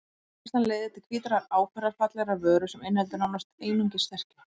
Framleiðslan leiðir til hvítrar áferðarfallegrar vöru sem inniheldur nánast einungis sterkju.